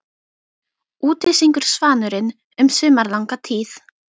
Úti syngur svanurinn um sumarlanga tíð.